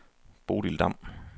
Bodil Damm